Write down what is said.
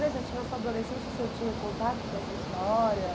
Mas é interessante, na sua adolescência o senhor tinha contato com essa história?